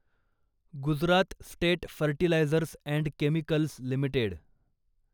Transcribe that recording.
Gujarat state fertilizers and chemicals limited